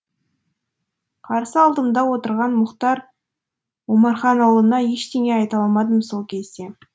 қарсы алдымда отырған мұхтар омарханұлына ештеңе айта алмадым сол кезде